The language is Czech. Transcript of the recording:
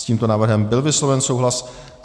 S tímto návrhem byl vysloven souhlas.